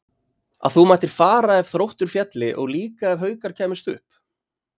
Að þú mættir fara ef Þróttur félli og líka ef Haukar kæmust upp?